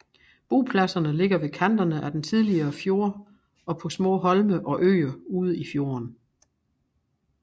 Bopladserne ligger ved kanterne af den tidligere fjord og på små holme og øer ude i fjorden